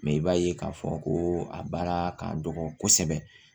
Mɛ i b'a ye k'a fɔ ko a baara ka dɔgɔ kosɛbɛ